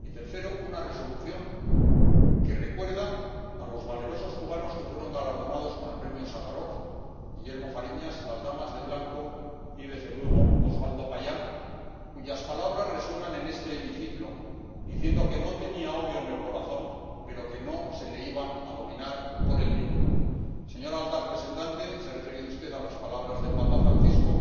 y tercero, una Resolución que recuerda a los valerosos cubanos que fueron galardonados con el Premio Sájarov Guillermo Fariñas, las Damas de Blanco y, desde luego, Oswaldo Payá, cuyas palabras resuenan en este hemiciclo, diciendo que no tenía odio en el corazón, pero que no se le iba a dominar por el miedo. Señora alta representante, se ha referido usted a las palabras del papa Francisco.